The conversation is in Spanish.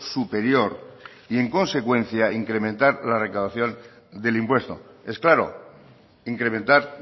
superior y en consecuencia incrementar la recaudación del impuesto es claro incrementar